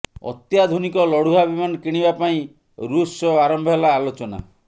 ଅତ୍ୟାଧୁନିକ ଲଢୁଆ ବିମାନ କିଣିବା ପାଇଁ ଋଷ ସହ ଆରମ୍ଭ ହେଲା ଆଲୋଚନା